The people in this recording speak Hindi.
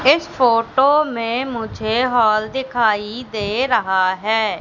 इस फोटो में मुझे हॉल दिखाई दे रहा है।